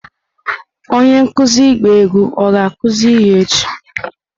Onye nkuzi ịgba egwu ọ ga-akụzi ihe echi?